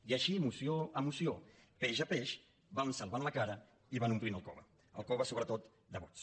i així moció a moció peix a peix van salvant la cara i van omplint el cove el cove sobretot de vots